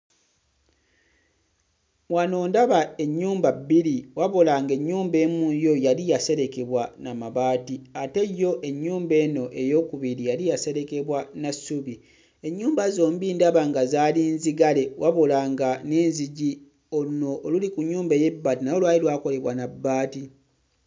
Wano ndaba ennyumba bbiri wabula ng'ennyumba emu yo yali yaserekebwa na mabaati ate yo ennyumba eno ey'okubiri yali yaserekebwa na ssubi. Ennyumba zombi ndaba nga zaali nzigale wabula nga n'enzigi luno oluli ku nnyumba ey'ebbaati nalwo lwali lwakolebwa na bbaati.